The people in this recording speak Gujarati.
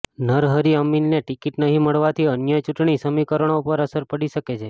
નરહરિ અમીનને ટિકીટ નહીં મળવાથી અન્ય ચૂંટણી સમીકરણો પર અસર પડી શકે છે